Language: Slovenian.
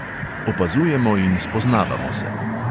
Opazujemo in spoznavamo se.